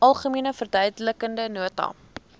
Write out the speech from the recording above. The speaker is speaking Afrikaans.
algemene verduidelikende nota